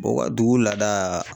u ka dugu laada